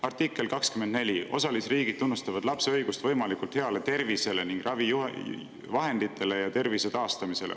Artikkel 24 osalisriigid tunnustavad lapse õigust võimalikult heale tervisele ning ravivahenditele ja tervise taastamisele.